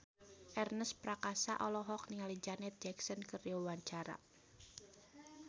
Ernest Prakasa olohok ningali Janet Jackson keur diwawancara